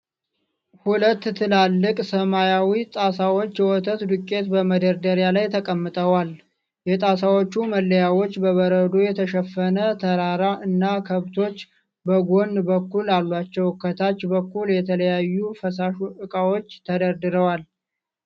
ሁለት ትላልቅ ሰማያዊ ጣሳዎች የወተት ዱቄት በመደርደሪያ ላይ ተቀምጠዋል። የጣሳዎቹ መለያዎች በበረዶ የተሸፈነ ተራራ እና ከብቶች በጎን በኩል አሏቸው፤ ከታች በኩል የተለያዩ ፈሳሽ እቃዎች ተደርድረዋል።